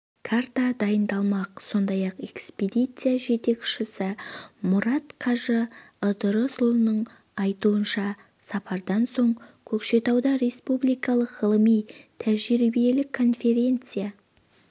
карта дайындалмақ сондай-ақ экспедиция жетекшісі мұрат қажы ыдырысұлының айтуынша сапардан соң көкшетауда республикалық ғылыми-тәжірибелік конференция